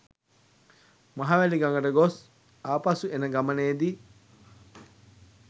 මහවැලි ගඟට ගොස් ආපසු එන ගමනේදී